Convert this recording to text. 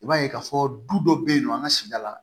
I b'a ye k'a fɔ du dɔ bɛ yen nɔ an ka sigida la